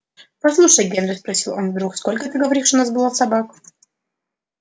послушай генри спросил он вдруг сколько ты говоришь у нас было собак